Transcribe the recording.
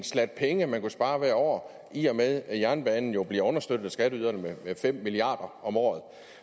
slat penge man kunne spare hvert år i og med at jernbanen jo bliver understøttet af skatteyderne med fem milliard om året